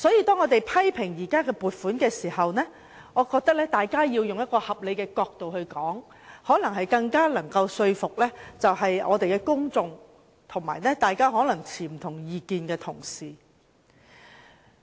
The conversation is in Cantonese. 當我們批評現時的撥款項目時，我認為大家要從合理的角度出發，這可能更能說服公眾及持不同意見的同事。